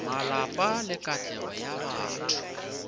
malapa le katlego ya batho